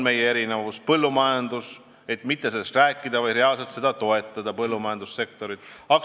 Põllumajandus: sellest ei tule ainult rääkida, vaid reaalselt põllumajandussektorit toetada.